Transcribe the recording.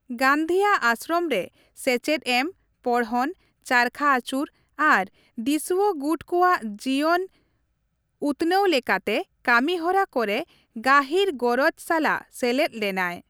ᱜᱟᱹᱱᱫᱷᱤᱭᱟᱜ ᱟᱥᱨᱚᱢ ᱨᱮ ᱥᱮᱪᱮᱫ ᱮᱢ, ᱯᱚᱲᱦᱚᱱ, ᱪᱟᱨᱠᱷᱟ ᱟᱹᱪᱩᱨ ᱟᱨ ᱫᱤᱥᱩᱣᱟᱜᱩᱴ ᱠᱚᱣᱟᱜ ᱡᱤᱭᱚᱱ ᱩᱛᱱᱟᱹᱣ ᱞᱮᱠᱟᱛᱮ ᱠᱟᱹᱢᱤᱦᱚᱨᱟ ᱠᱚᱨᱮ ᱜᱟᱹᱦᱤᱨ ᱜᱚᱨᱚᱡᱽ ᱥᱟᱞᱟᱜ ᱥᱮᱞᱮᱫ ᱞᱮᱱᱟᱭ ᱾